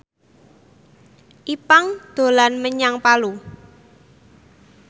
Ipank dolan menyang Palu